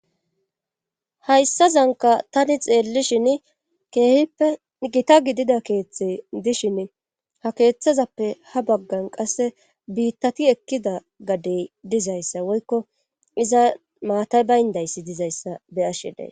hayssazanka tani xeellishin keehippe gita gidida keeththey dishin ha keeththazappe ha baggan qasse biittati ekkida gadey dizayssa woykko iza maatay bayndayssi dizayssa be'ashshe days